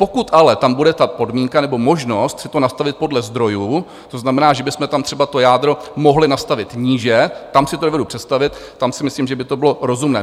Pokud ale tam bude ta podmínka nebo možnost si to nastavit podle zdrojů, to znamená, že bychom tam třeba to jádro mohli nastavit níže, tam si to dovedu představit, tam si myslím, že by to bylo rozumné.